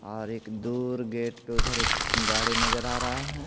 और एक दूर गेट पे उधर एक गाड़ी नजर आ रहा है।